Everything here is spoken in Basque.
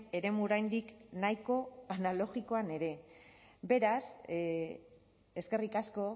eremu oraindik nahiko analogikoan ere beraz eskerrik asko